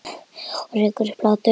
Og rekur upp hlátur.